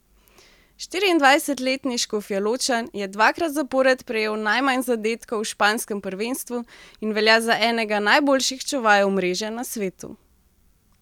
Štiriindvajsetletni Škofjeločan je dvakrat zapored prejel najmanj zadetkov v španskem prvenstvu in velja za enega najboljših čuvajev mreže na svetu.